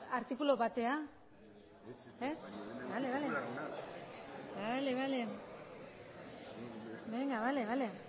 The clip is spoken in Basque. benga bale bale